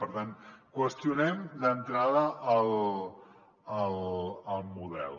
per tant qüestionem d’entrada el model